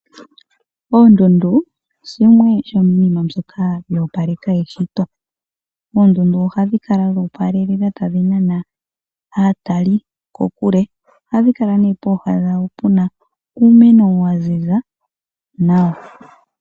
Oondundu shimwe shomiinima mbyoka yo opaleke eshito . Oondundu ohadhi kala dho opalelela tadhi nana aatali kokule . Ohadhi kala nee pooha dhadho puna uumeno wa ziza nawa.